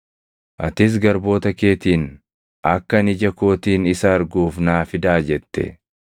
“Atis garboota keetiin, ‘Akka ani ija kootiin isa arguuf naa fidaa’ jette.